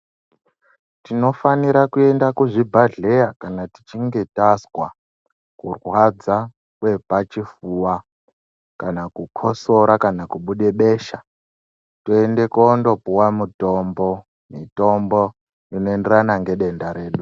Tinofanira kuenda kuzvibhedhlera kana tichinge tazwa kurwadza Kwepachifuwa kana kukotsora kubuda besha toenda kopuwa mutombo mitombo inoenderana nedenda redu.